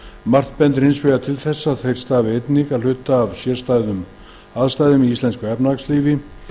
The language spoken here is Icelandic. margt bendir hins vegar til þess að þeir stafi einnig að hluta til af sérstökum aðstæðum í íslensku efnahagslífi